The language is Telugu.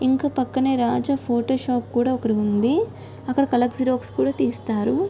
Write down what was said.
ఇంకా పక్కన రాజా ఫోటో షాప్ కూడా ఉంది. అక్కడ కలర్ గ్జిరోస్ కూడా తీస్తారు .